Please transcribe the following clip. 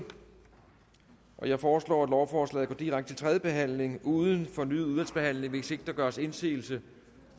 jeg foreslår at lovforslaget går direkte til tredje behandling uden fornyet udvalgsbehandling hvis ikke der gøres indsigelse